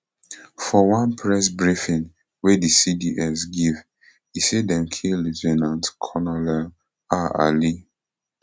for one press briefing wey di cds give e say dem kill lieu ten ant colonel ah ali